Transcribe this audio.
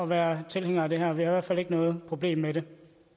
være tilhængere af det her vi har fald ikke noget problem med det